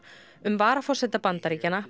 um varaforseta Bandaríkjanna